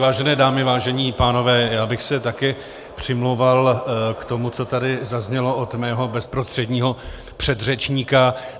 Vážené dámy, vážení pánové, já bych se také přimlouval za to, co tady zaznělo od mého bezprostředního předřečníka.